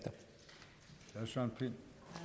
sådan